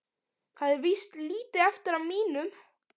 Það er víst lítið eftir af mínum!